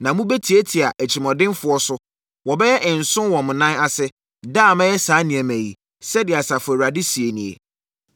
Na mobɛtiatia atirimuɔdenfoɔ so; wɔbɛyɛ nsõ wɔ mo nan ase, da a mɛyɛ saa nneɛma yi.” Sɛdeɛ Asafo Awurade seɛ nie.